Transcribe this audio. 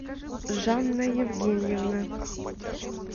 жанна евгеньевна